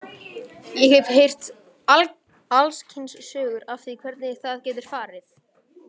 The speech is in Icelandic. Ég hef heyrt alls kyns sögur af því hvernig það getur farið.